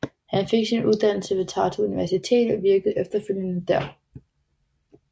Han fik sin uddannelse ved Tartu Universitet og virkede efterfølgende der